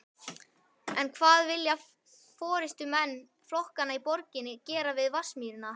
Össur læddist að dinglumdanglinu og kíkti fram.